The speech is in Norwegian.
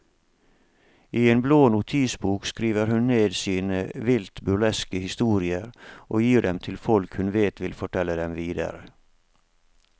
I en blå notisbok skriver hun ned sine vilt burleske historier og gir dem til folk hun vet vil fortelle dem videre.